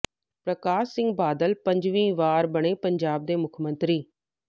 ਪਰਕਾਸ਼ ਸਿੰਘ ਬਾਦਲ ਪੰਜਵੀਂ ਵਾਰ ਬਣੇ ਪੰਜਾਬ ਦੇ ਮੁੱਖਮੰਤਰੀ